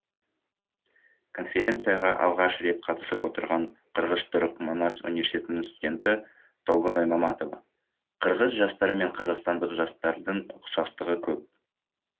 конференцияға алғаш рет қатысып отырған қырғыз түрік манас университетінің студенті толгоной маматова қырғыз жастары мен қазақстандық жастардың ұқсастығы көп